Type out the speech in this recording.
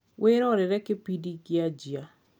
wirorere kibindi gikiajia